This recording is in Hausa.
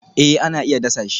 Eh ana iya dasa shi